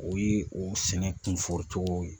O ye o sɛnɛ kunfɔri tɔgɔ ye.